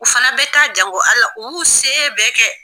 U fana bɛ taa jango Ala u y'u se bɛɛ kɛ.